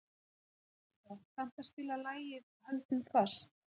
Járnbrá, kanntu að spila lagið „Höldum fast“?